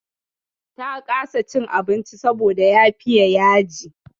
Ta kasa cin abincin saboda ya fiya yaji.